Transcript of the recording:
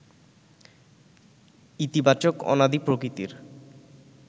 ইতিবাচক অনাদি প্রকৃতির